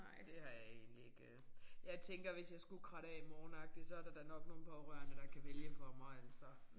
Det har jeg egentlig ikke øh jeg tænker hvis jeg skulle kratte af i morgen agtigt så er da nok nogle pårørende der kan vælge for mig altså